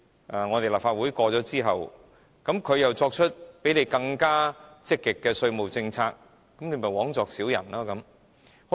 如果立法會通過之後，它們又作出比香港更積極的稅務政策，這不是枉作小人了嗎？